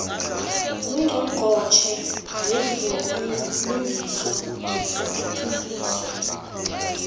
ngungqongqotjhe wezobulungiswa nokuthuthukiswa